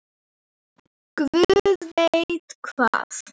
Guð veit hvað!